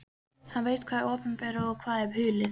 Hann veit hvað opinberað er og hvað hulið.